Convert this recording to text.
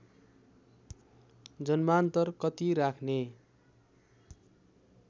जन्मान्तर कति राख्ने